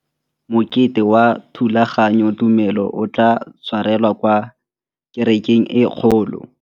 Mokete wa thulaganyôtumêdi o tla tshwarelwa kwa kerekeng e kgolo.